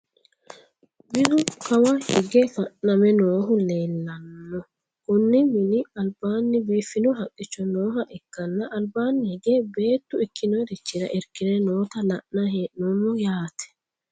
Minu kawa hige fa'name noohu leellanno. konni mini albaanni biifino haqqicho nooha ikkanna albaanni hige beettuikkinorichira irkire noota la'nayi hee'noommo yaate.